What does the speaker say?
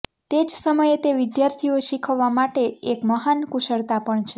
તે જ સમયે તે વિદ્યાર્થીઓ શીખવવા માટે એક મહાન કુશળતા પણ છે